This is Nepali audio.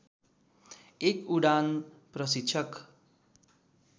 एक उडान प्रशिक्षक